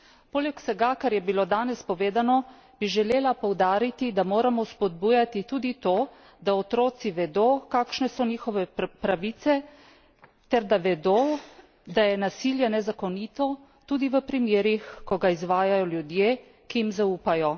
Poleg vsega, kar je bilo danes povedano, bi želela poudariti, da moramo spodbujati tudi to, da otroci vedo, kakšne so njihove pravice, ter da vedo, da je nasilje nezakonito, tudi v primerih, ko ga izvajajo ljudje, ki jim zaupajo.